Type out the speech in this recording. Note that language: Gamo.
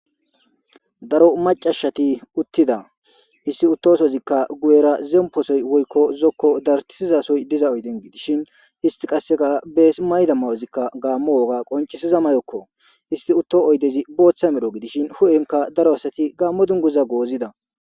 darro macasatika utida hesi utosizika guyera zemposoyi zoko darithizasoyi diza ooyideni gidishi istika besi mayida mayoza gammo wogga qocisiza mayoko est utida oyidezikka botha medho gidishi huphenika gamo dunguza gozidda